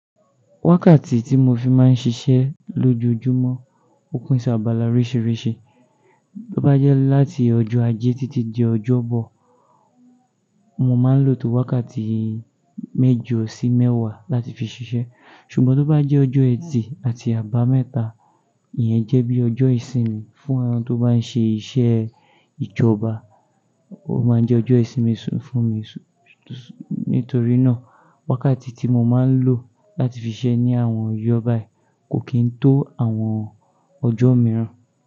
Wákàtí tí mo fi máa ń ṣiṣẹ́ lójoojúmọ́, ó pín ṣabàlà oríṣìíríṣìí. Bó bá jẹ́ láti ọjọ́ Ajé títí di ọjọ́ Bọ, mo máa ń lò tó wákàtí méjọ sí mẹ́wàá láti fi ṣiṣẹ́. Ṣùgbọ́n tó bá jẹ́ ọjọ́ Ẹtì àti Àbámẹ́ta, ìyẹn jẹ́ bí ọjọ́ ìsinmi fún àwọn tó bá ń ṣe iṣẹ́ ìjọba. Ó máa ń jẹ ọjọ́ ìsinmi fún mi, nítorí náà wákàtí tí mo máa ń lò láti fi ṣiṣẹ́ ní àwọn ìjọ bayi kò kí ń tó àwọn ọjọ́ mìíràn.